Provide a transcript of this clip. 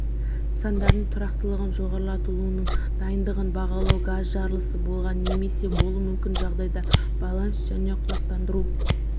нысандарының тұрақтылығын жоғарылатылуының дайындығын бағалау газ жарылысы болғанда немесе болуы мүмкін жағдайда байланыс және құлақтандыру